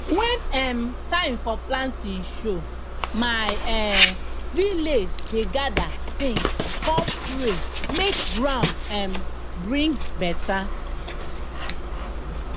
when um time for planting show my um village dey gather sing com pray make ground um bring better